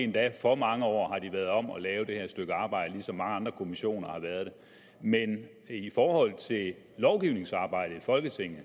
været for mange år om at lave det her stykke arbejde ligesom mange andre kommissioner har været det men i forhold til lovgivningsarbejdet i folketinget